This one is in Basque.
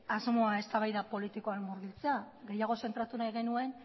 asmoa eztabaida politikoa gehiago zentratu nahi genuen